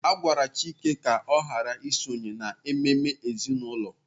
A gwara Chike ka ọ ghara isonye n'ememe ezinụlọ.